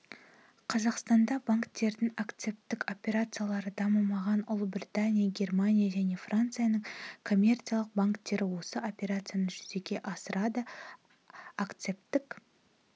қазақстанда банктердің акцептік операциялары дамымаған ұлыбритания германия және францияның коммерциялық банктері осы операцияны жүзеге асырады акцептік